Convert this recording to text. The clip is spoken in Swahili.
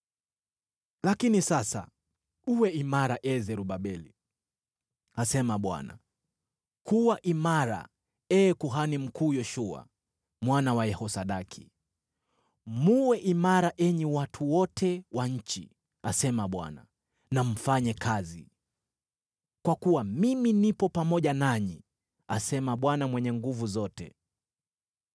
Lakini sasa uwe imara, ee Zerubabeli,’ asema Bwana . ‘Kuwa imara, ee kuhani mkuu Yoshua mwana wa Yehosadaki. Mwe imara, enyi watu wote wa nchi,’ asema Bwana , ‘na mfanye kazi. Kwa kuwa mimi nipo pamoja nanyi,’ asema Bwana Mwenye Nguvu Zote.